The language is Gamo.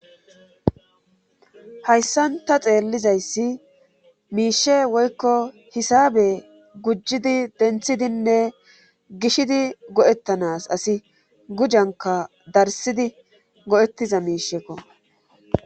hayssan ta xeellizayssi miishee woykko hisaabe gujjidi denthidinne gishidi go7etanas asi gujankka darssidi go7etiza miishsheko.